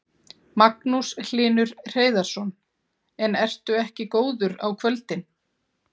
Magnús Hlynur Hreiðarsson: En ertu ekki góður á kvöldin?